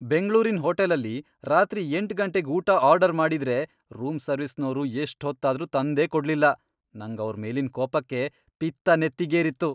ಬೆಂಗ್ಳೂರಿನ್ ಹೋಟೆಲಲ್ಲಿ ರಾತ್ರಿ ಎಂಟ್ ಗಂಟೆಗ್ ಊಟ ಆರ್ಡರ್ ಮಾಡಿದ್ರೆ ರೂಮ್ ಸರ್ವಿಸ್ನೋರು ಎಷ್ಟ್ ಹೊತ್ತಾದ್ರೂ ತಂದೇ ಕೊಡ್ಲಿಲ್ಲ, ನಂಗ್ ಅವ್ರ್ ಮೇಲಿನ್ ಕೋಪಕ್ಕೆ ಪಿತ್ತ ನೆತ್ತಿಗೇರಿತ್ತು.